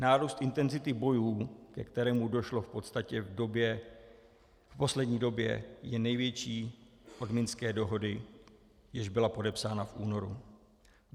Nárůst intenzity bojů, ke kterému došlo v podstatě v poslední době, je největší od minské dohody, jež byla podepsána v únoru.